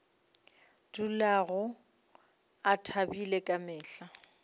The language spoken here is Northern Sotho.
dulago a thabile ka mehla